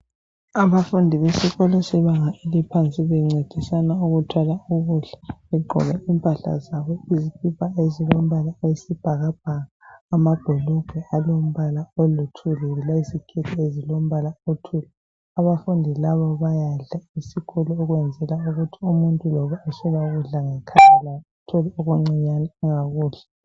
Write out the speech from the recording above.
Abafundi besikolo sebanga eliphansi bencedisans ukuthwala ukudla. Egqoke impahla zabo, izikipa ezilombala oyisibhakabhaka. Amabhulugwe alombala oluthuli. Abafundi laba bayadla esikolo, ukwenzela ukuthi umuntu loba eswela ukudla ngekhaya, laye etholile okuncinyane angakudla..